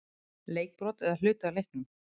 Leikbrot eða hluti af leiknum???